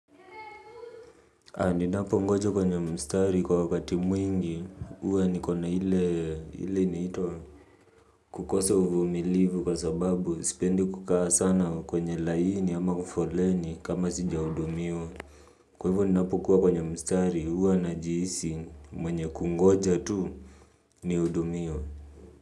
Ninapo ngoja kwenye mstari kwa wakati mwingi, huwa niko na ile inaitwa. Kukosa uvumilivu kwa sababu, sipendi kukaa sana kwenye laini ama kwabfoleni kama sijahudumiwa. Kwa hivyo ninapokuwa kwenye mstari, huwa najihisi mwenye kungoja tu nihudumiwe.